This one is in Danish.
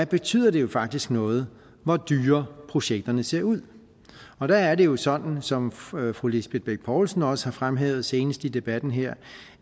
betyder det jo faktisk noget hvor dyre projekterne ser ud og der er det jo sådan som fru fru lisbeth bech poulsen også har fremhævet senest i debatten her